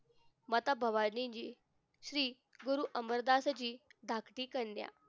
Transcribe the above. माता भवानी जी श्री गुरु अमरनाथजी धाकटी कन्या